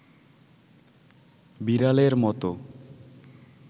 বিড়ালের মতো